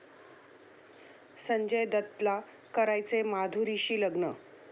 संजय दत्तला करायचंय माधुरीशी लग्न!